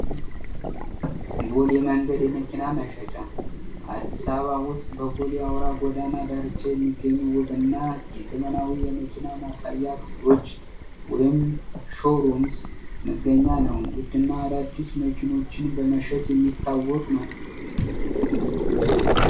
ቦሌ የመንገድ የመኪና መሸጫ አዲስ አበባ ውስጥ በቦሌ የአውራ ጓዳና ዳርቻ የሚገኙ ውብ እና የዘመናዊ የመኪና ማሳያ ክፍሎች ወይም ሾሮምስ መገኛ ነው ውድ እና አዳአዲስ መኪኖችን በመሸጥ የሚታወቅ ነው።